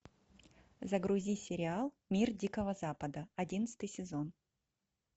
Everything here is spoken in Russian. загрузи сериал мир дикого запада одиннадцатый сезон